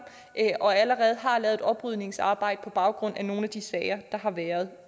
og allerede har lavet et oprydningsarbejde på baggrund af nogle af de sager der har været